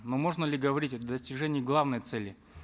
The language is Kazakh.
но можно ли говорить о достижении главной цели